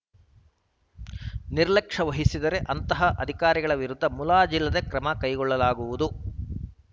ನಿರ್ಲಕ್ಷೆ ವಹಿಸಿದರೇ ಅಂತಹ ಅಧಿಕಾರಿಗಳ ವಿರುದ್ಧ ಮುಲಾಜಿಲ್ಲದೆ ಕ್ರಮ ಕೈಗೊಳ್ಳಲಾಗುವುದು